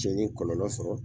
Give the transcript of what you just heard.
Cɛ n ye kɔlɔlɔ sɔrɔ